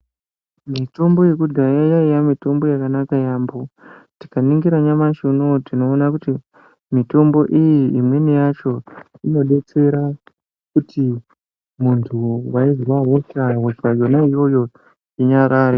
Mitombo yekudhaya yaiya mitombo yakanaka yaampho. Tikaningira nyamashi unowutinoona kuti , mitombo iyi imweni yacho, inodetsera kuti muntu weizwa hosha, hosha yona iyoyo inyarare.